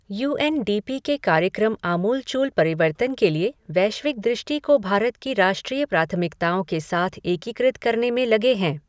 You N D P के कार्यक्रम आमूलचूल परिवर्तन के लिए वैश्विक दृष्टि को भारत की राष्ट्रीय प्राथमिकताओं के साथ एकीकृत करने में लगे हैं।